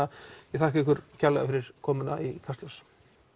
ég þakka ykkur kærlega fyrir komuna í Kastljós